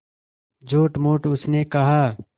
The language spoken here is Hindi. झूठमूठ उसने कहा